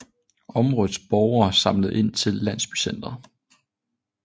Områdets borgere samlede ind til landsbycenteret